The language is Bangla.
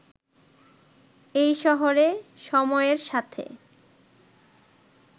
এই শহরে সময়ের সাথে